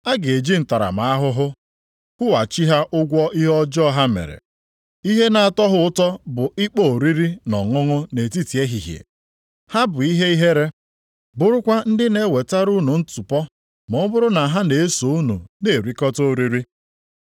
A ga-eji ntaramahụhụ kwụghachi ha ụgwọ ihe ọjọọ ha mere. Ihe na-atọ ha ụtọ bụ ịkpọ oriri na ọṅụṅụ nʼetiti ehihie. Ha bụ ihe ihere, bụrụkwa ndị na-ewetara unu ntụpọ ma ọ bụrụ na ha na-eso unu na-erikọta oriri.